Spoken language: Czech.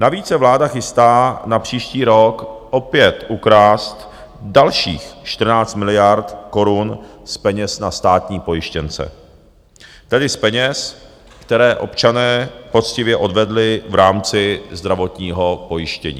Navíc se vláda chystá na příští rok opět ukrást dalších 14 miliard korun z peněz na státní pojištěnce, tedy z peněz, které občané poctivě odvedli v rámci zdravotního pojištění.